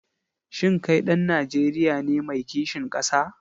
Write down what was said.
Shin kai ɗan Najeriya ne mai kishin ƙasa?